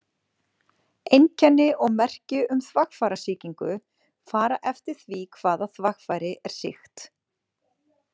Einkenni og merki um þvagfærasýkingu fara eftir því hvaða þvagfæri er sýkt.